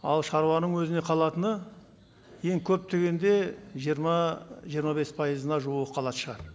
ал шаруаның өзіне қалатыны ең көп дегенде жиырма жиырма бес пайызына жуығы қалатын шығар